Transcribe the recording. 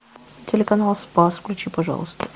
телеканал спас включи пожалуйста